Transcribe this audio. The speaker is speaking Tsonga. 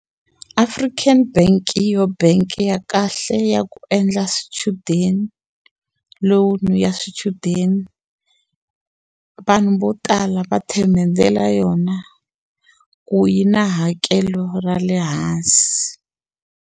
African bank hi yoho bangi ya kahle ya ku endla swichudeni loan ya swichudeni vanhu vo tala va themendhela yona ku yi na hakelo ra le hansi.